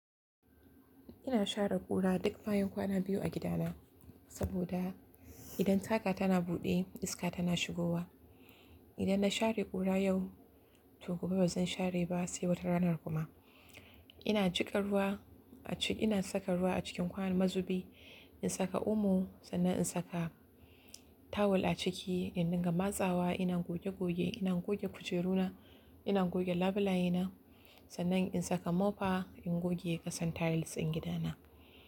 Ina share ƙura duk bayan kwana biyu a gidana saboda idan tsaga tana buɗe iska tana shigowa. Idan na share ƙura yau, to gobe ba zan share ba sai wata rana kuma. Ina gika ruwa acikin, ina saka ruwa a cikin kwayan mazubi, in saka omo sannan in saka tawul a ciki in dinga matsawa. Ina goge goge, ina goge kujeruna, ina goge labulayena, sannan in saka mofa in goge ƙasan tiles din gidana.